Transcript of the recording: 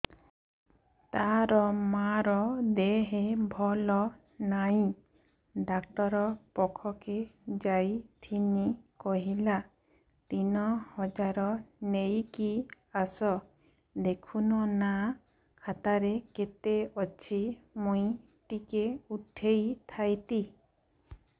ତାର ମାର ଦେହେ ଭଲ ନାଇଁ ଡାକ୍ତର ପଖକେ ଯାଈଥିନି କହିଲା ତିନ ହଜାର ନେଇକି ଆସ ଦେଖୁନ ନା ଖାତାରେ କେତେ ଅଛି ମୁଇଁ ଟିକେ ଉଠେଇ ଥାଇତି